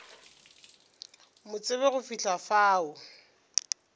mo tsebe go fihla fao